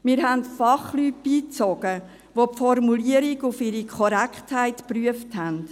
Wir haben Fachleute beigezogen, welche die Formulierung auf ihre Korrektheit geprüft haben.